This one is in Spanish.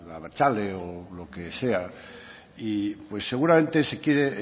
abertzale o lo que sea pues seguramente se siente